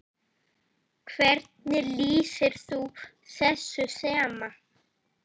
Hvernig lýsir þú þessu þema?